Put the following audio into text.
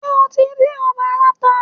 Ṣé o tí dín ọbẹ̀ aláta?